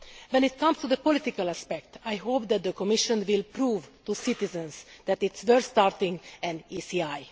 When it comes to the political aspect, I hope that the Commission will prove to citizens that it is worth starting an ECI.